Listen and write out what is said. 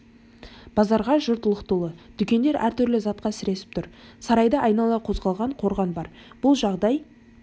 базарға жұрт лық толы дүкендер әртүрлі затқа сіресіп тұр сарайды айнала соғылған қорған бар бұл жағдай